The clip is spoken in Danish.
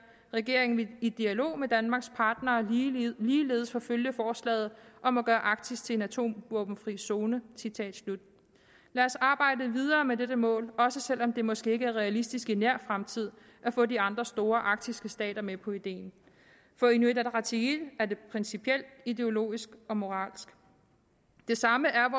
regeringen vil i dialog med danmarks partnere ligeledes forfølge forslaget om at gøre arktis til en atomvåbenfri zone lad os arbejde videre med dette mål også selv om det måske ikke er realistisk i nær fremtid at få de andre store arktiske stater med på ideen for inuit ataqatigiit er det principielt ideologisk og moralsk det samme er